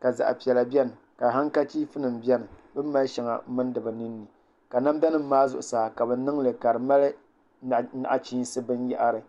ka zaɣ piɛla biɛni ka hankachiif nim biɛni bi ni mali shɛŋa n mindi bi ninni ka namda nim maa zuɣusaa ka bi niŋli ka di mali nachiinsi binyahari